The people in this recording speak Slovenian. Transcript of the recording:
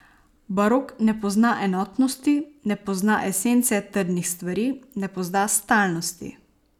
Barok ne pozna enotnosti, ne pozna esence trdnih stvari, ne pozna stalnosti.